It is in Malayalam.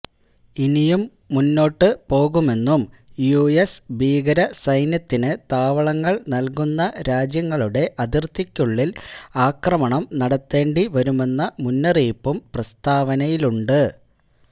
ഇനിയും മുന്നോട്ട് പോകുമെന്നും യുഎസ് ഭീകര സൈന്യത്തിന് താവളങ്ങള് നല്കുന്ന രാജ്യങ്ങളുടെ അതിര്ത്തിക്കുള്ളില് ആക്രമണം നടത്തേണ്ടി വരുമെന്ന മുന്നറിയിപ്പും പ്രസ്താവനയിലുണ്ട്